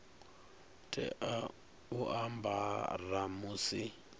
tea u a ambara musi